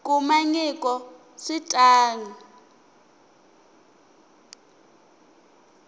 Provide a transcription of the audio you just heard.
kuma nyiko swi ta n